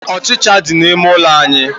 Ọchicha dị n'ime ụlọ anyị.